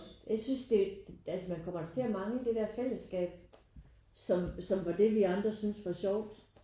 Jeg synes det altså man kommer da til at mangle det der fællesskab som som var det vi andre synes var sjovt